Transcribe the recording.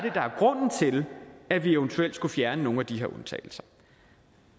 til at vi eventuelt skulle fjerne nogle af de her undtagelser